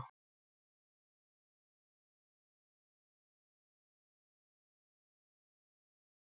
Þetta með reikningsskilin í lífi okkar.